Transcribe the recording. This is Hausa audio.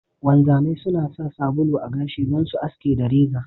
Wanzamai suna sa sabulu a gashi sai su aske da reza.